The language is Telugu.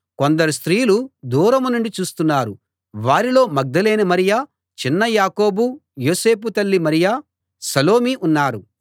కొందరు స్త్రీలు దూరం నుండి చూస్తున్నారు వారిలో మగ్దలేనే మరియ చిన్న యాకోబు యోసేల తల్లి మరియ సలోమి ఉన్నారు